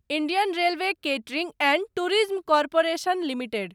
Indian Railway Catering and Tourism Corporation limited